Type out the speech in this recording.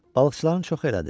Balıqçıların çoxu elədi.